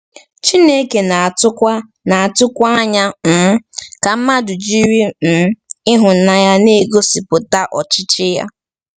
Chineke na-atụkwa na-atụkwa anya um ka mmadụ jiri um ịhụnanya na-egosipụta ọchịchị ya.